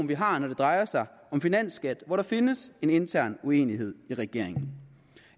vi har når det drejer sig om finansskat hvor der findes en intern uenighed i regeringen